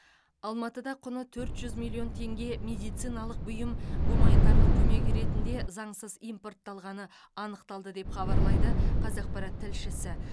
алматыда құны төрт жүз миллион еңге медициналық бұйым гуманитарлық көмек ретінде заңсыз импортталғаны анықталды деп хабарлайды қазақпарат тілшісі